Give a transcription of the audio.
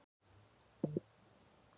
Hvaða starfsmenn eru þetta?